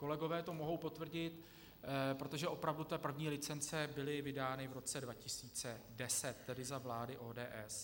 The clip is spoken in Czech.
Kolegové to mohou potvrdit, protože opravdu ty první licence byly vydány v roce 2010, tedy za vlády ODS.